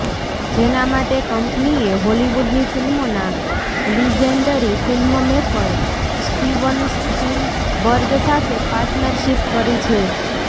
જેના માટે કંપનીએ હોલિવૂડની ફિલ્મોના લિજેન્ડરી ફિલ્મમેકર સ્ટીવન સ્પીલબર્ગ સાથે પાર્ટનરશીપ કરી છે